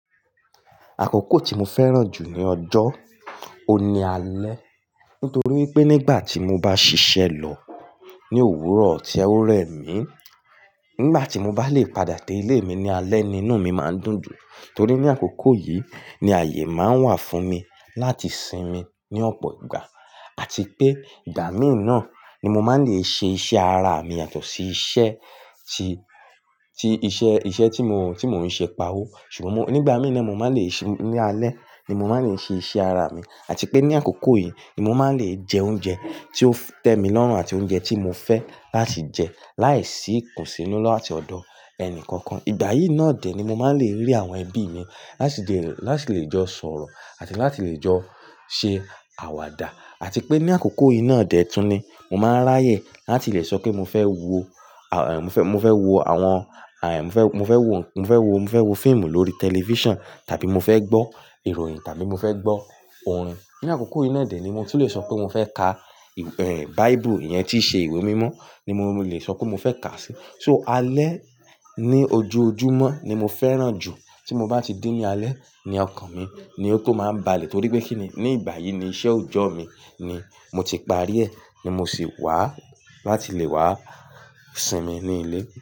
Àkókò tí mo fẹ́ràn jù ní ọjọ́, oun ní alẹ́. Nítorí wípé nígbà tí mo bá ṣiṣẹ́ lọ ní òwúrọ̀ tí ẹ ó rẹ̀ mí, nígbà tí mo bá lè padà dé ilé mi ní alẹ́ ni inú mi máa ń dùn jù. Torí ní àkókò yìí ni ààyè máa ń wà fún mi láti sinmi ní ọ̀pọ̀ ìgbà àti pé ìgbà míì náà ni mo máa ń lè ṣe iṣẹ́ ara mi yàtọ̀ sí iṣẹ́ tí, tí iṣẹ́, iṣẹ́ tí mo, tí mo ń ṣe pawó. Ṣùgbọ́n mo-- nígbà mí ìna mo máa lè ṣe ní alẹ́ ni mo máa ń lè ṣe iṣẹ́ ara mi àti pé ní àkókò yìí ni mo máa ń lè jẹ oúnjẹ tí ó tẹ́ mi lọ́rùn àti oúnjẹ tí mo fẹ́ láti jẹ láìsí ikùnsínú làti ọ̀dọ̀ ẹnì kankan. Ìgbà yìí náà dè ni mo máa ń lè rí àwọn ẹbí mi láti lè, láti lè jọ sọ̀rọ̀ àti láti lè jọ ṣe àwàdà. Àti pé ní àkókò yìí náà dè túnni, mo máa ń ráyè láti lè sọ pé mo fẹ́ wo, mo fẹ́, mo fẹ́ wo àwọn, mo fẹ́, mo fẹ́ wo, mo fẹ́ wo, mo fẹ́ wo fíìmù lórí tẹlifíṣàn tàbí mo fẹ́ gbọ́ ìròyìn tàbí mo fẹ́ gbọ́ orin. Ní àkókò yìí náà dè ni mo ti le sọ pé mo fẹ́ ka, Bible iyẹn tí í ṣe ìwé mímọ́ ni mo lè sọ pé mo fẹ́ kà á sí. So alẹ́ ní ojoojúmọ́ ni mo fẹ́ràn jù. Tí mo bá ti dé ní alẹ́, ni ọkàn mi ni ó tó máa ń balẹ̀ torí pé kíni ní ìgbà yìí ni iṣẹ́ òjọ́ mi ni mo ti parí ẹ̀ ni mo sì wá láti lè wá sinmi ní ilé.